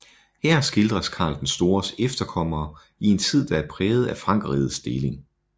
Her skildres Karl den Stores efterkommere i en tid der er præget af Frankerrigets deling